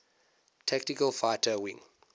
tactical fighter wing